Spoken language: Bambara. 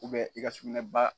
i ka sugunɛba